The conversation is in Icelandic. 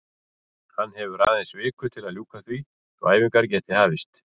Hann hefur aðeins viku til að ljúka því svo að æfingar geti hafist.